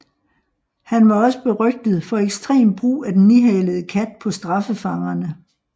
Han var også berygtet for ekstrem brug af den nihalede kat på straffefangerne